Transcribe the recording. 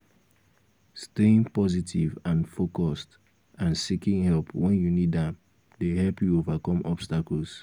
staying positive and focused and seeking help when you need am dey help you overcome obstacles.